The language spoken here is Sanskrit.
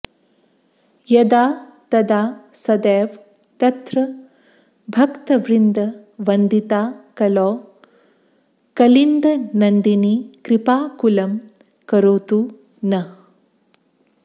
यदा तदा सदैव तत्र भक्तवृन्दवन्दिता कलौ कलिन्दनन्दिनी कृपाकुलं करोतु नः